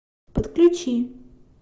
подключи